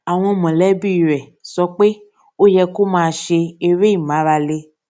àwọn mòlébí rè sọ pé ó yẹ kó máa ṣe eré ìmárale